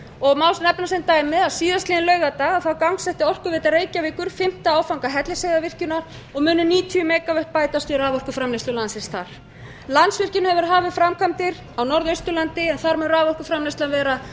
og má nefna sem dæmi að síðastliðinn laugardag gangsetti orkuveita reykjavíkur fimmta áfanga hellisheiðarvirkjunar og mun um níutíu megavött bætast við raforkuframleiðslu landsins þar landsvirkjun hefur hafið framkvæmdir á norðausturlandi þar mun raforkuframleiðslan vera